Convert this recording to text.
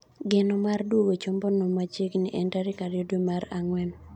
Geno mar duogo chombo no machiegni en tarik ariyo dwee mar ang'wen.